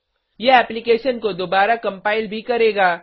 यह एप्लीकेशन को दोबारा कम्पाइल भी करेगा